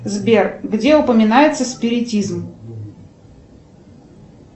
сбер где упоминается спиритизм